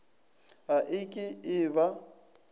ga e ke e ba